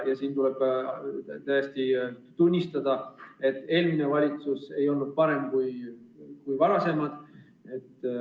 Tuleb tõesti tunnistada, et eelmine valitsus ei olnud parem kui varasemad.